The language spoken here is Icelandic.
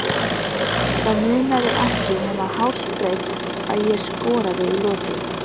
Það munaði ekki nema hársbreidd að ég skoraði í lokin.